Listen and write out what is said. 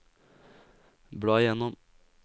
bla gjennom